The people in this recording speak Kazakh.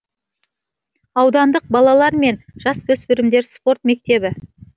аудандық балалар мен жасөспірімдер спорт мектебі